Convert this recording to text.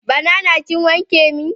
Banana kin wanke min?